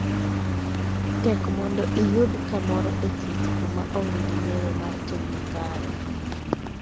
Tek mondo iyud kamoro e thieth kuma onge gi ng�eyo mar tim makare.